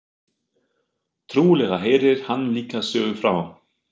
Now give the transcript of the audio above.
Trúlega heyrir hann líka sögu frá